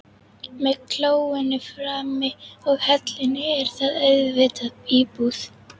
Með klóinu frammi og hellunni er þetta auðvitað íbúð.